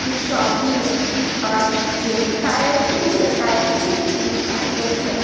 की शॉपी है और ये टायर टु या टायर थ्री सिटीज का दृश्य है।